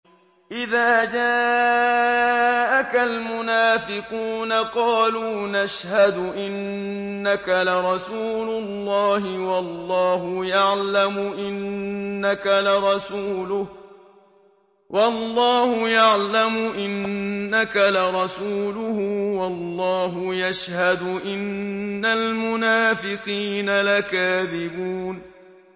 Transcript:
إِذَا جَاءَكَ الْمُنَافِقُونَ قَالُوا نَشْهَدُ إِنَّكَ لَرَسُولُ اللَّهِ ۗ وَاللَّهُ يَعْلَمُ إِنَّكَ لَرَسُولُهُ وَاللَّهُ يَشْهَدُ إِنَّ الْمُنَافِقِينَ لَكَاذِبُونَ